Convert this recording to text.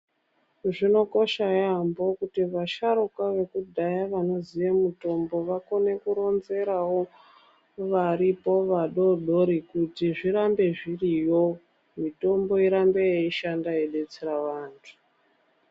Zvinokosha yaambo kuti vasharukwa vekudhaya vanoziye mitombo vakone koronzerao varipo vadodori kuti zvirambe zviriyo mitombo irambe yeishanda yeidetsera vanthu.